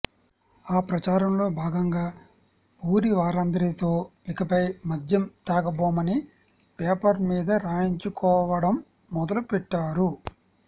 ఆ ప్రాచారంలో భాగంగా ఊరివారందరితో ఇకపై మద్యం తాగబోమని పేపర్ మీద రాయించుకోవడం మొదలుపెట్టారు